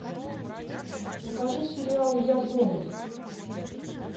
покажи сериал я зомби